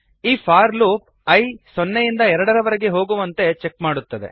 ಈ for loop i ಸೊನ್ನೆಯಿಂದ ಎರಡರವರೆಗೆ ಹೋಗುವಂತೆ ಚೆಕ್ ಮಾಡುತ್ತದೆ